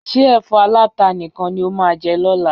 Ṣé ẹ̀fọ́ aláta nìkan ni o máa jẹ lọ́la?